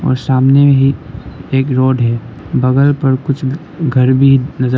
और सामने भी एक रोड है बगल पर कुछ घर भी नजर--